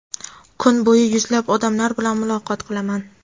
Kuni bo‘yi yuzlab odamlar bilan muloqot qilaman.